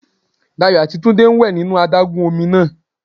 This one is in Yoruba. Dayò àti Túndé ń wè nínú adágún ọmi náà